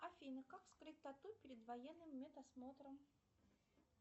афина как скрыть тату перед военным медосмотром